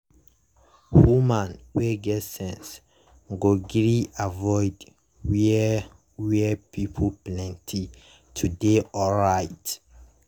woman wey get sense go gree avoid where where pipo plenti to dey alright.